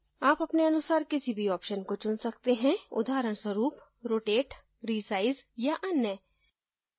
आप अपने अनुसार किसी भी option को चुन सकते हैं उदाहरणस्वरूप rotate resize या any